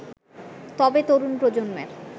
তবে, তরুণ প্রজন্মের